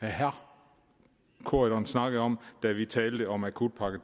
herre corydon snakkede om da vi talte om akutpakke